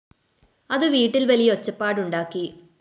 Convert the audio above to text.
അത് വീട്ടിൽ വലിയ ഒച്ചപ്പാടുണ്ടാക്കി